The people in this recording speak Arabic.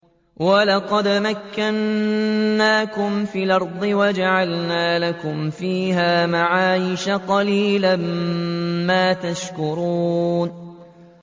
وَلَقَدْ مَكَّنَّاكُمْ فِي الْأَرْضِ وَجَعَلْنَا لَكُمْ فِيهَا مَعَايِشَ ۗ قَلِيلًا مَّا تَشْكُرُونَ